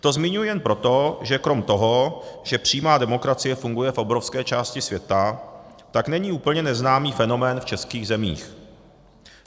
To zmiňuji jen proto, že krom toho, že přímá demokracie funguje v obrovské části světa, tak není úplně neznámý fenomén v českých zemích.